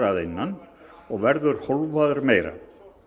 að innan og verður hólfaður meira